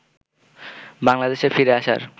বাংলাদেশে ফিরে আসার